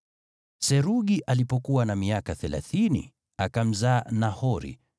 Serugi alipokuwa na miaka thelathini, akamzaa Nahori.